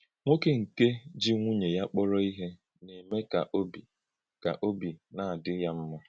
Nwókè nke ji nwùnyè ya kpọrọ̀ ihe na-eme ka òbì ka òbì na-adí ya mma.